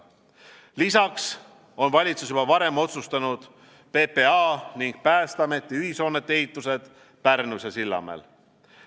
Lisaks on valitsus juba varem otsustanud PPA ning Päästeameti ühishoonete ehitused Pärnus ja Sillamäel.